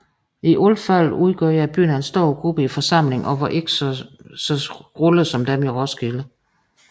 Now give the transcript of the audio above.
I alt fald udgjorde bønderne en større gruppe i forsamlingen og var ikke så tavse som dem i Roskilde